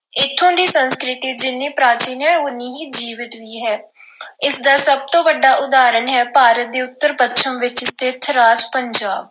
ਇੱਥੋਂ ਦੀ ਸੰਸਕ੍ਰਿਤੀ ਜਿੰਨ੍ਹੀਂ ਪ੍ਰਾਚੀਨ ਹੈ ਉਹਨੀ ਹੀ ਜੀਵੰਤ ਵੀ ਹੈ। ਇਸ ਦਾ ਸਭ ਤੋਂ ਵੱਡਾ ਉਦਾਹਰਣ ਹੈ ਭਾਰਤ ਦੇ ਉੱਤਰ-ਪੱਛਮ ਵਿੱਚ ਸਥਿਤ ਰਾਜ ਪੰਜਾਬ।